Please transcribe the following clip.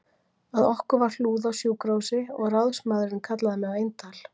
Að okkur var hlúð á sjúkrahúsi og ráðsmaðurinn kallaði mig á eintal